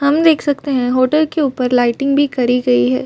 हम देख सकते है होटल के ऊपर लाइटिंग भी करी गयी है।